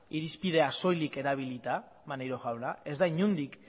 irizpidea soilik erabilita maneiro jauna ez da inondik